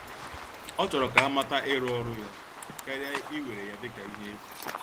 Ọ chọrọ ka amata ịrụ ọrụ ya, karịa iwere ya dịka ihe efu.